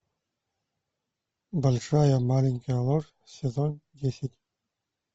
большая маленькая ложь сезон десять